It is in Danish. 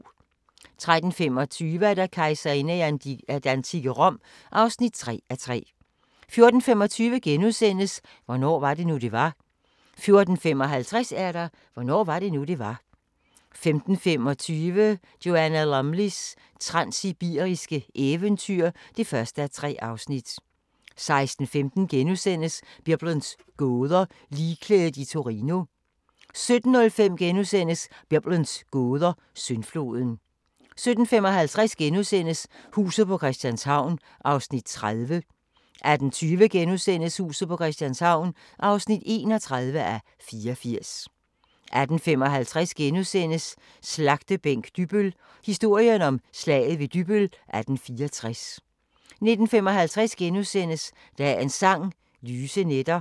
13:25: Kejserinder i det antikke Rom (3:3) 14:25: Hvornår var det nu, det var? * 14:55: Hvornår var det nu, det var? 15:25: Joanna Lumleys transsibiriske eventyr (1:3) 16:15: Biblens gåder – Ligklædet i Torino * 17:05: Biblens gåder – Syndfloden * 17:55: Huset på Christianshavn (30:84)* 18:20: Huset på Christianshavn (31:84)* 18:55: Slagtebænk Dybbøl – historien om Slaget ved Dybbøl 1864 * 19:55: Dagens Sang: Lyse nætter *